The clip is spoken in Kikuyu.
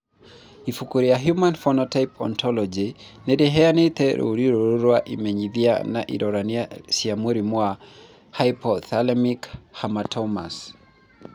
Ibuku rĩa The Human Phenotype Ontology nĩ rĩheanĩte rũũri rũrũ rwa imenyithia na ironania cia mũrimũ wa Hypothalamic hamartomas.